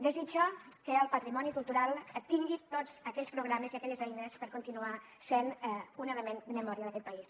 desitjo que el patrimoni cultural tingui tots aquells programes i aquelles eines per continuar sent un element de memòria d’aquest país